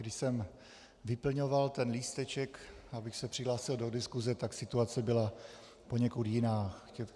Když jsem vyplňoval ten lísteček, abych se přihlásil do diskuse, tak situace byla poněkud jiná.